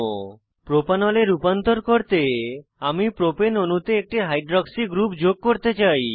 propanol propanol এ রূপান্তর করতে আমি প্রোপেন অণুতে একটি হাইড্রক্সি গ্রুপ যোগ করতে চাই